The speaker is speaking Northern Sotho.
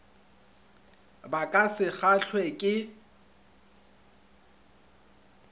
ba ka se kgahlwe ke